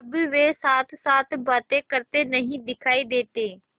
अब वे साथसाथ बातें करते नहीं दिखायी देते